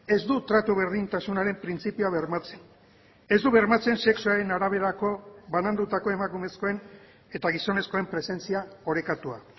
ez du tratu berdintasunaren printzipioa bermatzen ez du bermatzen sexuaren araberako banandutako emakumezkoen eta gizonezkoen presentzia orekatua